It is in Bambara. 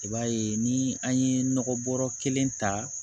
I b'a ye ni an ye nɔgɔ bɔrɔ kelen ta